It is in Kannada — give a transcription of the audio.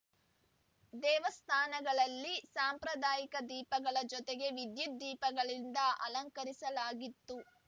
ದೇವಸ್ಥಾನಗಳಲ್ಲಿ ಸಾಂಪ್ರಾದಾಯಿಕ ದೀಪಗಳ ಜೊತೆಗೆ ವಿದ್ಯುತ್‌ ದೀಪಗಳಿಂದ ಅಲಂಕರಿಸಲಾಗಿತ್ತು